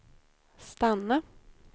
stanna